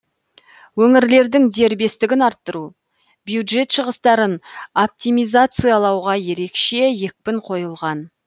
өңірлердің дербестігін арттыру бюджет шығыстарын оптимизациялауға ерекше екпін қойылған